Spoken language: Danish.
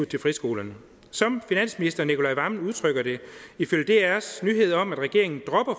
til friskolerne som finansminister nicolai wammen udtrykker det ifølge drs nyhed om at regeringen dropper